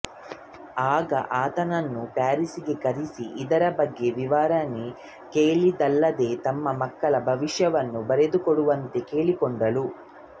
ಆಗ ಆತನನ್ನು ಪ್ಯಾರಿಸ್ ಗೆ ಕರೆಸಿ ಇದರ ಬಗ್ಗೆ ವಿವರಣೆ ಕೇಳಿದಳಲ್ಲದೇ ತಮ್ಮ ಮಕ್ಕಳ ಭವಿಷ್ಯವನ್ನು ಬರೆದುಕೊಡುವಂತೆ ಕೇಳಿಕೊಂಡಳು